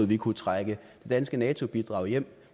vi kunne trække det danske nato bidrag hjem